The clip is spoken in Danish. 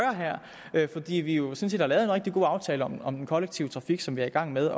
her fordi vi jo sådan set har lavet en rigtig god aftale om om den kollektive trafik som vi er i gang med